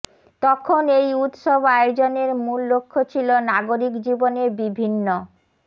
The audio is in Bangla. তখন এই উৎসব আয়োজনের মূল লক্ষ্য ছিল নাগরিক জীবনে বিভিন্ন